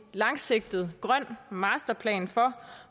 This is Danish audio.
langsigtet grøn masterplan for